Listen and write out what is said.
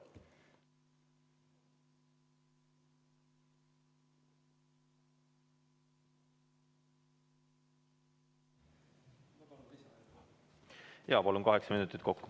Palun, kaheksa minutit kokku.